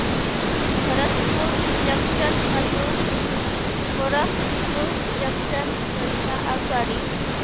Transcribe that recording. Bharatpur junction पासून Gorakhpur junction करीता आगगाडी